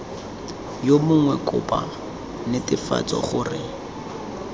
yo mongwe kopo netefatsa gore